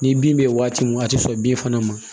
Ni bin bɛ yen waati min a tɛ sɔn bin fana ma